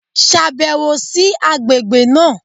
Ṣàbẹ̀wò sí àgbègbè náà!